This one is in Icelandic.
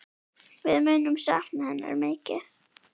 Við munum sakna hennar mikið.